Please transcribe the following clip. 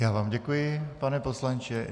Já vám děkuji, pane poslanče.